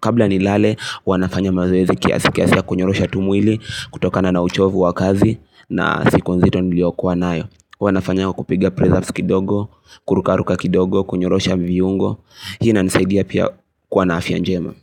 kabla nilale, huwa nafanya mazoezi kiasi kiasi ya kunyorosha tu mwili kutokana na uchovu wa kazi na siku nzito niliyokuwa nayo. Huwa nafanya kwa kupiga press ups kidogo, kurukaruka kidogo, kunyorosha viungo. Hina inanisaidia pia kuwa na afya njema.